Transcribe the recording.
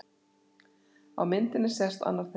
Á myndinni sést annar þeirra.